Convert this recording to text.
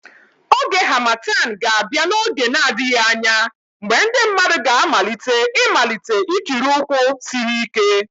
Oge Harmattan ga-abịa n'oge na-adịghị anya mgbe ndị mmadụ ga-amalite ịmalite ikiri ụkwụ siri ike